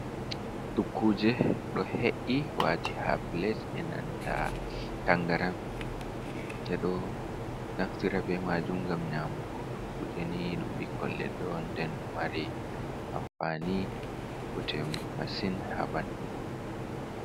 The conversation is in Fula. Dukkuje do he’i waati ha plet e nanta tangaran, ɓe ɗo naftira be majum ngam nyamugo, dukkuje ni ɗum ɓikkon leɗɗe on nden ɗo mari amfani botemasin ha ɓandu.